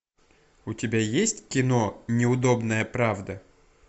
у тебя есть кино неудобная правда